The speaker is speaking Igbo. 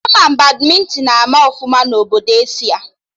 Ama Badmịntịn ama ọfụma na Obodo Asia